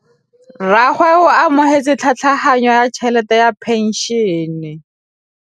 Rragwe o amogetse tlhatlhaganyô ya tšhelête ya phenšene.